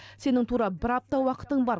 сенің тура бір апта уақытың бар